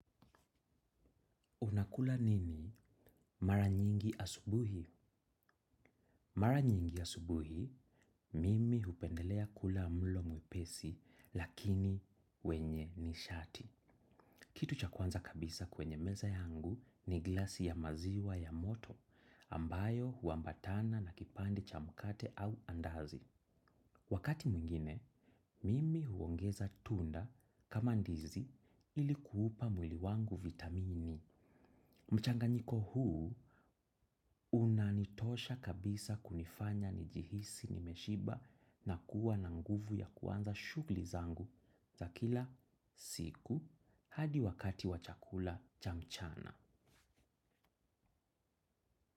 Unakula nini mara nyingi asubuhi? Mara nyingi asubuhi, mimi hupendelea kula mlo mwepesi lakini wenye nishati. Kitu cha kwanza kabisa kwenye meza yangu ni glasi ya maziwa ya moto ambayo huambatana na kipande cha mkate au andazi. Wakati mwingine, mimi huongeza tunda kama ndizi hili kuupa mwili wangu vitamini. Mchanga nyiko huu unanitosha kabisa kunifanya njihisi nimeshiba na kuwa na nguvu ya kuanza shughuli zangu za kila siku hadi wakati wa chakula cha mchana.